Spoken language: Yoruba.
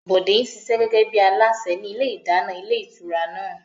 Bọ̀dé ń ṣiṣẹ́ gẹ́gẹ́ bí alásè ní ilé ìdáná ilé ìtura náà